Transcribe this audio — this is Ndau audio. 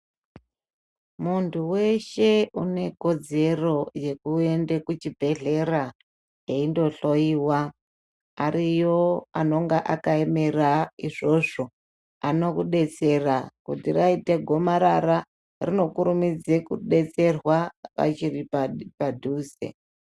Muntu weshe une kodzero yekuenda kuchibhedhlera eindo hloiwa ariyo anenge akaemera izvozvo anokudetsera kuti raita gomarara rinokurimidza kudetserwa achiri padhuze.